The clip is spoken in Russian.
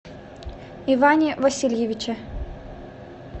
иване васильевиче